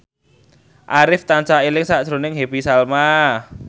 Arif tansah eling sakjroning Happy Salma